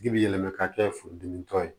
Ji bi yɛlɛma ka kɛ furudimitɔ ye